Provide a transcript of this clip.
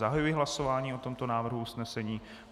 Zahajuji hlasování o tomto návrhu usnesení.